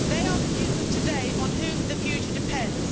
They are the youth of today, on whom the future depends.